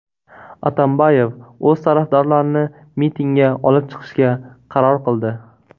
Atambayev o‘z tarafdorlarini mitingga olib chiqishga qaror qildi.